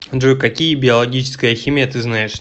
джой какие биологическая химия ты знаешь